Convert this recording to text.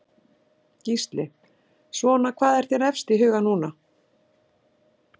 Gísli: Svona hvað er þér efst í huga núna?